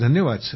धन्यवाद